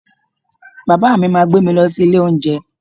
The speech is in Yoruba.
Bàbá mi máa gbé mi lọ sí ilé oúnjẹ